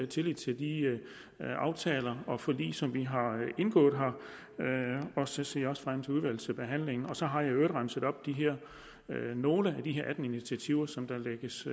tillid til de aftaler og forlig som vi har indgået her og så ser jeg også frem til udvalgsbehandlingen så har jeg i øvrigt remset nogle af de her atten initiativer som der lægges